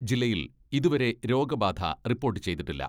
ജില്ലയിൽ ഇതുവരെ രോഗബാധ റിപ്പോട്ട് ചെയ്തിട്ടില്ല.